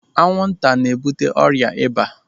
Anwụ nta n'ebute ọrịa ịba.